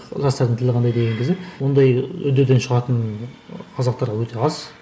жастардың тілі қандай деген кезде ондай үддеден шығатын ы қазақтар өте аз